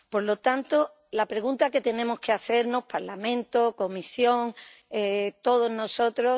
Por lo tanto, la pregunta que tenemos que hacernos Parlamento, Comisión, todos nosotros...